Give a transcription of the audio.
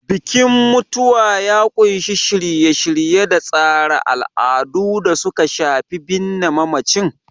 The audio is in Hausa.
Bikin mutuwa ya ƙunshi shirye-shirye da tsara al'adu da suka shafi binne mamacin.